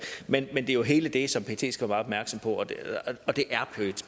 men det er jo hele det som pet skal være opmærksom på og det